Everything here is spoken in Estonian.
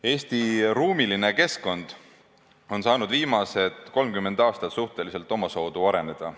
Eesti ruumiline keskkond on saanud viimased 30 aastat suhteliselt omasoodu areneda.